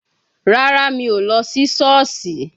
Rárá, mi ò lọ sí Șọ́ọ̀sì.